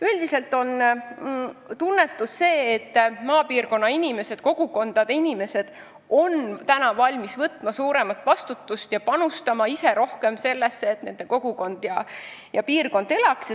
Üldiselt on praegune tunnetus selline, et maapiirkonna inimesed on valmis võtma suuremat vastutust ja ise rohkem panustama sellesse, et nende kogukond seal elada saaks.